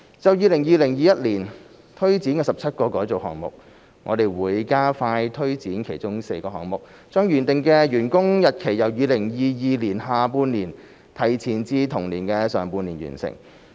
就 2020-2021 年推展的17個改造項目，我們會加快推展其中4個項目，將原定的完工日期由2022年下半年提前至同年的上半年完成。